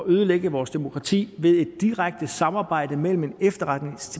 ødelægge vores demokrati ved et direkte samarbejde med en